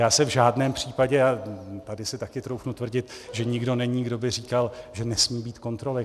Já se v žádném případě - a tady si taky troufnu tvrdit, že nikdo není, kdo by říkal, že nesmí být kontroly.